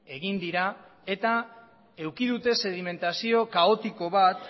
egin dira eta eduki dute sedimentazio kaotiko bat